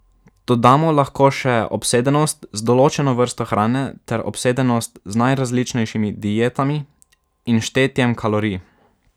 Dodamo lahko še obsedenost z določeno vrsto hrane ter obsedenost z najrazličnejšimi dietami in štetjem kalorij.